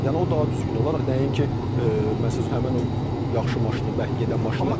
Yəni o daha düzgün olar nəinki məsəl üçün həmin o yaxşı maşını, bərk gedən maşını.